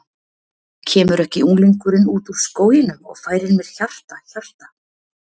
Kemur ekki unglingurinn út úr skóginum og færir mér hjarta, hjarta.